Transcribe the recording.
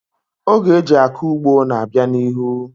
Oge eji akọ ugbo na-abịa n'ihu.